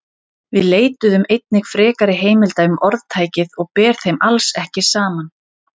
Við leituðum einnig frekari heimilda um orðtækið og ber þeim alls ekki saman.